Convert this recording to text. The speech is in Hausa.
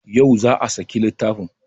Yau za a saki littafin